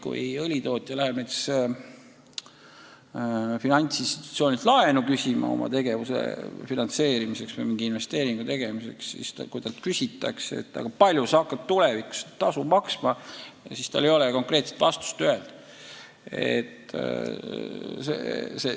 Kui õlitootja läheb finantsinstitutsioonilt oma tegevuse finantseerimiseks või mingi investeeringu tegemiseks laenu küsima ja talt küsitakse, kui palju sa hakkad tulevikus keskkonnatasu maksma, siis tal ei ole konkreetset vastust öelda.